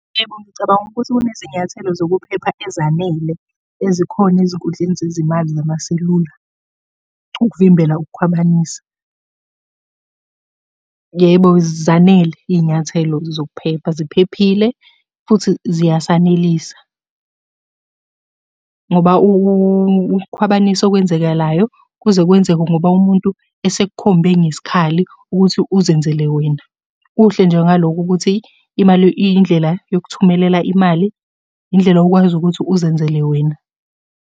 Yebo, ngicabanga ukuthi kunezinyathelo zokuphepha ezanele ezikhona ezinkundleni zezimali zamaselula ukuvimbela ukukhwabanisa. Yebo, zanele iy'nyathelo zokuphepha ziphephile, futhi ziyasanelisa, ngoba ukukhwabanisa okwenzekalayo kuze kwenzeke ngoba umuntu esekukhombe ngesikhali ukuthi uzenzele wena. Kuhle nje ngalokho ukuthi imali indlela yokukuthumelela imali, indlela okwazi ukuthi uzenzele wena.